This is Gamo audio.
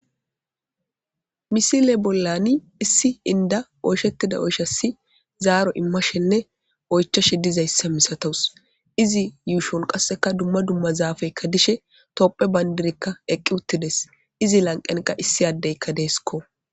misile bollani issi inda oyshettida oysha si zaaro immashenne oychashe dizayssa misatos izi yuushon qasseka dumma dumma zaafeykka dishe topphe bayndirekka eqqi uttides izi lanqenqa issi addeykka deesko